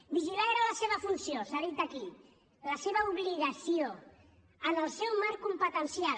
vigilar era la seva funció s’ha dit aquí la seva obligació en el seu marc competencial